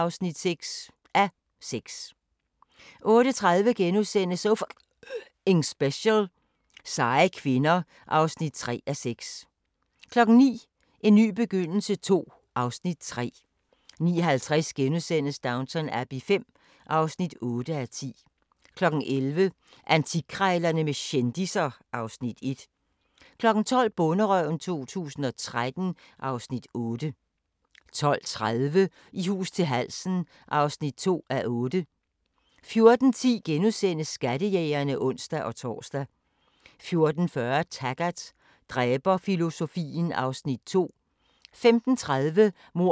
12:30: I hus til halsen (2:8) 14:10: Skattejægerne *(ons-tor) 14:40: Taggart: Dræberfilosofien (Afs. 2) 15:30: Mord i forstæderne (8:12) 16:15: Mord i forstæderne (9:12) 17:00: Downton Abbey V (9:10) 20:00: Guld i købstæderne - Holbæk (6:10) 21:00: Spise med Price egnsretter II (3:6) 22:00: Maria Wern: Stum sidder guden (1:2) 22:40: Maria Wern: Stum sidder guden (2:2)